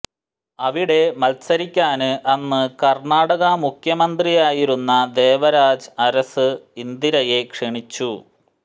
അവിടെ മത്സരിക്കാന് അന്ന് കര്ണ്ണാടക മുഖ്യമന്ത്രിയായിരുന്ന ദേവരാജ് അരശ് ഇന്ദിരയെ ക്ഷണിച്ചു